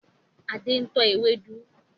Adé ń tọ́ ewédú